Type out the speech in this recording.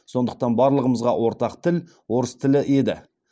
сондықтан барлығымызға ортақ тіл орыс тілі еді